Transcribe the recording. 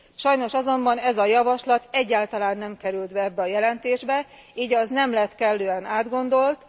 Sajnos azonban ez a javaslat egyáltalán nem került be ebbe a jelentésbe, így az nem lett kellően átgondolt.